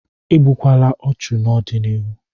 Igbukwala ọchụ n'ọdịnihu!